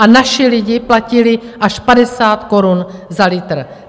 A naši lidi platili až 50 korun za litr.